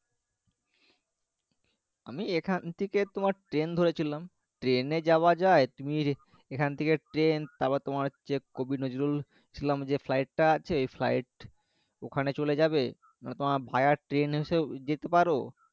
আমি এখন থেকে তোমার train ধরেছিলাম train এ যাওয়া যায় তুমি এখন থেকে train তারপর তোমার হচ্ছে কোবিনজরুল যে flight টা আছে flight ওখানে চলে যাবে মানে তোমার ভায়া train হিসেবেও যেতে পারো